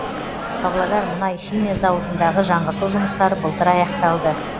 павлодар мұнай химия зауытындағы жаңғырту жұмыстары былтыр аяқталды